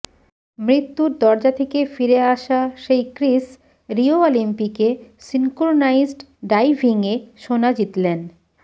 মৃত্যুর দরজা থেকে ফিরে আসা সেই ক্রিস রিও অলিম্পিকে সিঙ্ক্রোনাইজড ডাইভিংয়ে সোনা জিতলেন